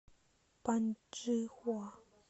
паньчжихуа